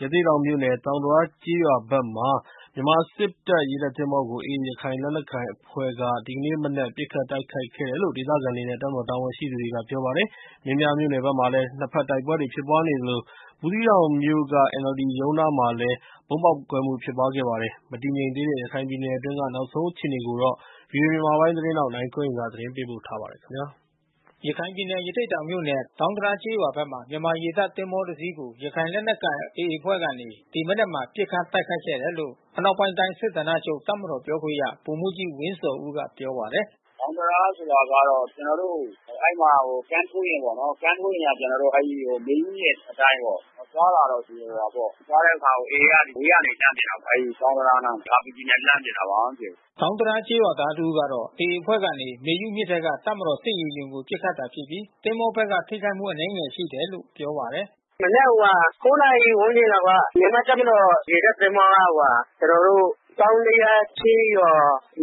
ရသေ့တောင်မြို့နယ် သောင်းဒရားကျေးရွာဖက်မှာ မြန်မာစစ်တပ်ရေတပ်သင်္ဘောကို AAရခိုင်လက် နက်ကိုင်အဖွဲ့ကနေ ပစ်ခတ်တိုက်ခိုက်ခဲ့ကြောင်း ဒေသခံတွေနဲ့တပ်မတော်တာဝန်ရှိသူတွေကပြောပါတယ်။ မင်းပြား မြို့နယ်ဖက်မှာလဲ နှစ်ဖက်တိုက်ပွဲတွေဖြစ်ပွား နေသလို ဘူးသီးတောင်မြို့က NLDရုံးနားမှာ ဗုံးပေါက်ကွဲမှုလဲ ဖြစ်ပွားခဲ့ပါတယ်။ မတည်ငြိမ်သေးတဲ့ ရခိုင်ပြည်နယ်အတွင်းနောက်ဆုံးအခြေအနေကိုတော့ ဗွီအိုအေမြန်မာပိုင်းသတင်းထောက် နိုင်ကွန်း အိန် ကနေ သတင်းပေးပို့ထားပါတယ်။ ရခိုင်ပြည်နယ် ရသေ့တောင်မြို့နယ် ၊ သောင်းဒရားကျေးရွာဖက်မှာ မြန်မာရေတပ်သင်္ဘောတစီးကို ရခိုင်လက်နက်ကိုင် AAအဖွဲ့ကနေ ဒီမနက်မှာ ပစ်ခတ်တိုက်ခိုက်ခဲ့တယ်လို့ အနောက်ပိုင်းတိုင်းစစ်ဌာနချုပ် တပ်မတော်ပြောခွင့်ရ ဗိုလ်မှူးကြီး ဝင်းဇော်ဦးကပြောပါတယ်။ “သောင်းဒရားဆိုတာတော့ ကျွန်တော်တို့အဲဒီမှာ ကမ်းထိုးယာဉ်ပေါ့။ ကမ်းထိုးယာဉ်က ကျွန်တော်တို့မေယုမြစ် အထက် ပိုင်းပေါ့။ သွားတာတော့ရှိတယ် တနေရာပေါ့။ သွားတဲ့အခါ AAကအဝေးကနေလှမ်းပစ်တာ အဲဒီကမ်းနားတန်းက RPGနဲ့ လှမ်းပစ်တာ ဘာမှမဖြစ်ဘူး။” သောင်းဒရားကျေးရွာသားတဦးကတော့ AAအဖွဲ့ကနေ မေယုမြစ်ထဲက တပ်မတော် စစ်ရေယာဉ်ကိုပစ်ခတ်တာဖြစ်ပြီး သင်္ဘောဘက်ကထိခိုက်မှုအနည်းငယ်ရှိတယ်လို့ပြောပါတယ်။ “မနက် နာရီဝန်းကျင်လောက်က မြန်မာ့တပ်မတော်ရေတပ်သင်္ဘောက ကျွန်တော်တို့ သောင်းဒရားကျေးရွာ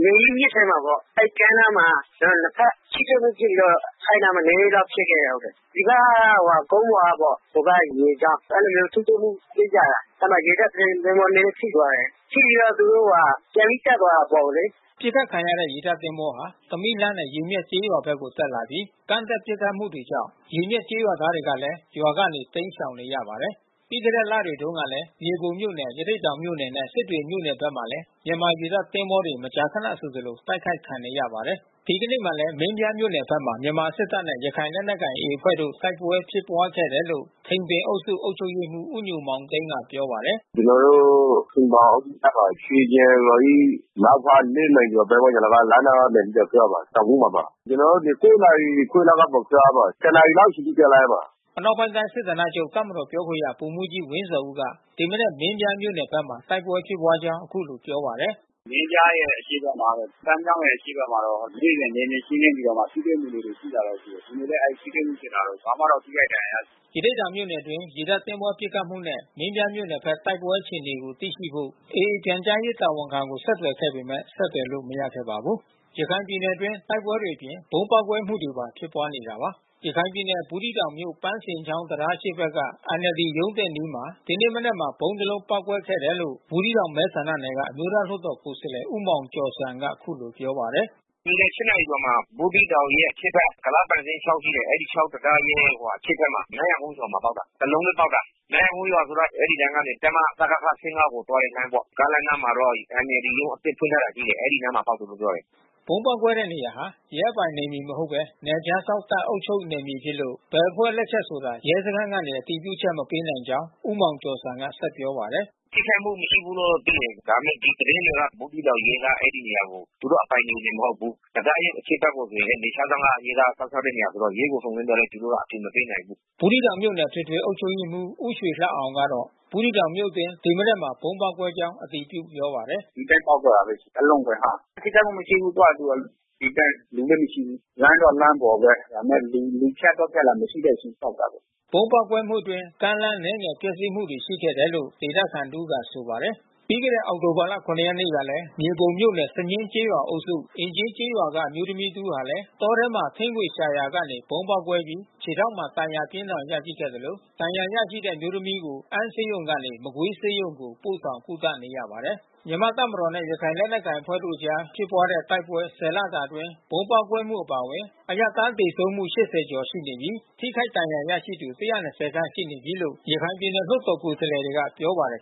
မေယုမြစ် ထဲမှာပေါ့။ အဲဒီကမ်းနားမှာ နှစ်ဖက်ထိတွေ့မှုဖြစ်ပြီးတော့ အဲဒီနားမှာ နည်းနည်းလောက်ဖြစ်ခဲ့တယ်။ ဒီက ကုန်းပေါ်ကပေါ့။ ဟိုဖက်ကရေကြောင်း။ အဲဒီလိုမျိုးထိတွေ့မှုဖြစ်ကြတာ။ အဲဒီမှာရေတပ်သင်္ဘောနဲနဲထိသွားတယ်။ ထိပြီးတော့ သူတို့ ဟိုဟာ ပြန်ပြီးတော့တက်သွားတယ်အပေါ်ကိုလေ။” ပစ်ခတ်ခံရတဲ့ရေတပ်သင်္ဘောဟာ သမီးလှနဲ့ရေမျက်ကျေးရွာဘက်ကိုတက်လာပြီး ကမ်းတက်ပစ်ခတ်မှု တွေကြောင့် ရေမျက်ကျေးရွာသားတွေလဲရွာကနေတိမ်းရှောင်နေရပါတယ်။ ပြီးခဲ့တဲ့လတွေတုန်းကလဲ မြေပုံမြို့နယ်ရသေ့တောင်မြို့နယ်နဲ့ စစ်တွေမြို့နယ်တွေဖက်မှာလဲ မြန်မာရေတပ် သင်္ဘော တွေ မကြာခဏဆိုသလိုတိုက်ခိုက်ခံနေရပါတယ်။ ဒီကနေ့မှာလဲမင်းပြားမြို့နယ်ဖက်မှာ မြန်မာစစ်တပ်နဲ့ရခိုင်လက်နက်ကိုင်AAအဖွဲ့တို့ တိုက်ပွဲဖြစ်ပွားခဲ့တယ်လို့ ထိန်ပင်အုပ်စု အုပ်ချုပ်ရေးမှူး ဦးညိုမောင်သိန်းကပြောပါတယ်။ “ကျွန်တော်တို့ထိန်ပင်အုပ်စုဖက်မှာ ရွှေကျင်ရွာ၏ မြောက်ဖက် မိုင်ကျော်ပတ်ဝန်းကျင်လောက်က လက်နက်သံတွေ ကြားပါတယ်။ တောင်ကုန်းမှာပါ။ ကျွန်တော်တို့ဒီ နာရီခွဲကပေါ့ကြားရပါတယ်။ တနာရီလောက်တိတိကြားလိုက်ပါ။” အနောက်ပိုင်းတိုင်းစစ်ဌာနချုပ် တပ်မတော်ပြောခွင့်ရ ဗိုလ်မှူးကြီးဝင်းဇော်ဦးက ဒီမနက် မင်းပြားမြို့နယ်ဖက် တိုက်ပွဲ ဖြစ်ပွားကြောင်း အခုလိုပြောပါတယ်။ “မင်းပြားရဲ့အရှေ့ဖက်နား ပန်းမြောင်းရဲ့အရှေ့ဖက်မှာတော့ နေ့စဉ်နယ်မြေရှင်းလင်းပြီးတော့မှ ထိတွေ့မှု လေးတွေ ရှိပါတယ်။ ဒီနေ့လဲ အဲဒီထိတွေ့မှုဖြစ်တာတော့ ဘာမှတော့ ထိခိုက်ဒဏ်ရာရတာမရှိဘူး။” ရသေ့တောင်မြို့နယ်အတွင်းရေတပ်သင်္ဘောပစ်ခတ်မှုနဲ့ မင်းပြားမြို့နယ်ဖက် တိုက်ပွဲအခြေအနေသိရှိဖို့ AAပြန်ကြား ရေးတာဝန်ခံကိုဆက်သွယ်ခဲ့ပေမဲ့ဆက်သွယ်လို့မရခဲ့ပါဘူး။ ရခိုင်ပြည်နယ်အတွင်းတိုက်ပွဲအပြင် ဗုံးပေါက်ကွဲမှုတွေပါဖြစ်နေတာပါ။ ရခိုင်ပြည်နယ် ဘူးသီးတောင်မြို့ ပန်းဇင်းချောင်း တံတားအရှေ့ဘက်က NLD ရုံးသစ်အနီးမှာ ဒီနေ့မနက်မှာ ဗုံးတစ် လုံးပေါက်ကွဲခဲ့တယ်လို့ ဘူးသီးတောင်မဲဆန္ဒနယ်က အမျိုးသားလွှတ်တော်ကိုယ်စားလှယ် ဦးမောင်ကျော်ဇံက အခုလိုပြောပါတယ်။ “ဒီနေ့ နာရီကျော်မှာ ဘူးသီးတောင်ရဲ့အရှေ့ဖက် ကုလားပန်ဇင်းချောင်းရှိတယ်။ အဲဒီချောင်းတံတားရဲ့အရှေ့ဖက်မှာ နန်းရာကုန်းရွာမှာပေါက်တာ။ တလုံးထဲပေါက်တာ။ နန်းရာကုန်းဆိုတာက အဲဒီလမ်းကနေ တပ်မ စကခ ကို သွားတဲ့ လမ်းပေါ့။ ကားလမ်းနားမှာတော့ NLDရုံး အသစ်ဖွင့်ထားတာရှိတယ်။ အဲဒီနားမှာပေါက်တယ်လို့ပြောတယ်။” ဗုံးပေါက်ကွဲတဲ့နေရာဟာ ရဲအပိုင်နယ်မြေမဟုတ်ဘဲ နယ်ခြားစောင့်တပ်အုပ်ချုပ်နယ်မြေဖြစ်လို့ ဘယ်အဖွဲ့လက်ချက် ဆိုတာ ရဲစခန်းကနေ အတည်ပြုချက်မပေးနိုင်ကြောင်း ဦးမောင် ကျော်ဇံက ဆက်ပြောပါတယ်။ “ထိခိုက်မှုမရှိဘူးလို့သိတယ်။ ဒါပေမဲ့ဒီသတင်းတွေက ဘူးသီးတောင်ရဲတွေက အဲဒီနေရာကို သူတို့အပိုင်နယ်မြေ မဟုတ်ဘူး။ တံတားရဲ့အရှေ့ဖက်ဆို နယ်ခြားစောင့်က ရဲကစောင့်ရှောက်တဲ့ နေရာဆိုတော့ ရဲကိုစုံစမ်းသွားလဲ သူတို့ ကအတည်မပေးနိုင်ဘူး။” ဘူးသီးတောင်မြို့နယ်အထွေထွေအုပ်ချုပ်ရေးမှူး ဦးရွှေလှအောင်ကတော့ ဘူးသီးတောင်မြို့အတွင်း ဒီမနက်မှာ ဗုံးပေါက်ကွဲကြောင်းအတည်ပြုပြောပါတယ်။ “ဒီအတိုင်းပေါက်သွားတာဘဲ။ တလုံးဘဲဟာ။ ထိခိုက်မှုမရှိဘူး သူ့ဟာသူ ဒီအတိုင်း လူလဲမရှိဘူး။ လမ်းတော့လမ်းပေါ် ဘဲ။ ဒါပေမဲ့လူဖြတ်သွား ဖြတ်လာမရှိတဲ့အချိန်ပေါက်တာဘဲ။” ဗုံးပေါက်ကွဲမှုအတွင်း ကားလမ်းအနည်းငယ်ပျက်စီးမှုရှိခဲ့တယ်လို့ဒေသခံတဦးကဆိုပါတယ်။ ပြီးခဲ့တဲ့အောက်တိုဘာလ ရက်နေ့ကလဲ မြေပုံမြို့နယ် စညှင်းကျေးရွာအုပ်စု၊ အင်ကြင်းကျေးရွာက အမျိုးသမီး တဦးဟာလဲ တောထဲမှာ ထင်းခွေရှာရာကနေ ဗုံးပေါက်ကွဲပြီး ခြေထောက်မှာ ဒဏ်ရာပြင်းထန်စွာရရှိခဲ့သလို ဒဏ်ရာ ရရှိတဲ့အမျိုးသမီးကို အမ်းဆေးရုံကနေ မကွေးဆေးရုံကိုပို့ဆောင်ကုသနေရပါတယ်။ မြန်မာတပ်မတော်နဲ့ ရခိုင်လက်နက်ကိုင်အဖွဲ့တို့အကြားဖြစ်ပွားတဲ့တိုက်ပွဲ လတာအတွင်း ဗုံးပေါက်ကွဲမှုအပါဝင် အရပ်သားသေဆုံးမှု ကျော်ရှိနေပြီး ထိခိုက်ဒဏ်ရာရရှိသူ ခန့်ရှိနေပြီးလို့ ရခိုင်ပြည်နယ် လွှတ်တော်ကိုယ် စားလှယ်တွေကပြောပါတယ်